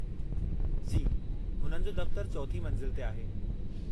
जी , हुननि जो दफ़्तरु चौथीं मंज़िल ते आहे।